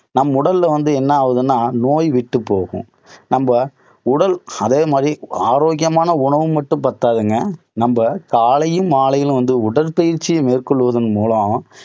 நம் உடல்ல வந்து என்ன ஆவுதுன்னா நோய் விட்டுப் போகும். நம்ம உடல், அதே மாதிரி ஆரோக்கியமான உணவு மட்டும் பத்தாதுங்க, நம்ம காலையும் மாலையிலேயும் வந்து உடற்பயிற்சி மேற்கொள்வதன் மூலம்